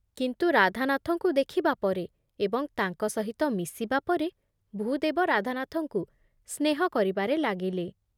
କିନ୍ତୁ ରାଧାନାଥଙ୍କୁ ଦେଖିବା ପରେ ଏବଂ ତାଙ୍କ ସହିତ ମିଶିବା ପରେ ଭୂଦେବ ରାଧାନାଥଙ୍କୁ ସ୍ନେହ କରିବାରେ ଲାଗିଲେ ।